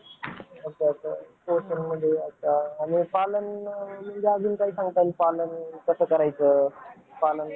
engineering चे कोणते कोणते field माहिती आहेत तुम्हाला जसं कि